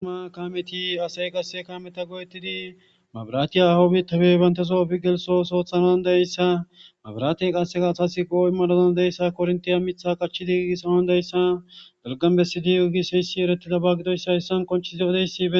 ima kaameti asey qasse kaameta goyettidi mabiratiya hahoo bitape banteso efi gelso ooso oothanaw dayssa mabiraate qasseka asasi poo7o imanawu dandeyzassa korntiya mitha qachidi gigisanaw dandayssa dalganbesidi oygis heyssi ereti gidaba gidoyssa hessan qonchisi do7odeyssie